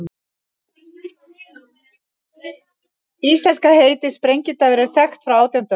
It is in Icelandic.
Íslenska heitið, sprengidagur, er þekkt frá átjándu öld.